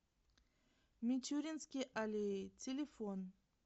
мичуринские аллеи телефон